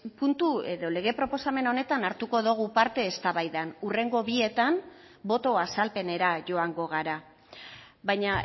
puntu edo lege proposamen honetan hartuko dogu parte eztabaidan hurrengo bietan boto azalpenera joango gara baina